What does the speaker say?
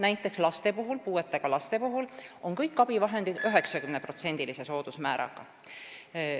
Näiteks puuetega laste puhul on kõik abivahendid 90%-lise soodusmääraga.